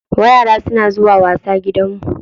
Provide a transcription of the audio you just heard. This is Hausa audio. Yara suna zuwa wasa gidanmu.